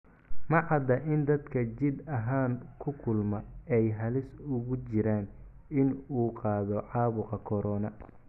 Ma cadda in dadka jidh ahaan ku kulma ay halis ugu jiraan in uu qaado caabuqa corona.